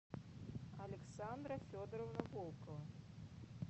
александра федоровна волкова